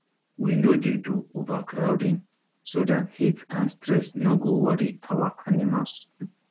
we no dey do overcrowding so dat heat and stress no go worry our animals